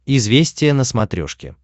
известия на смотрешке